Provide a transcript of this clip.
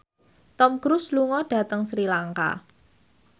Tom Cruise lunga dhateng Sri Lanka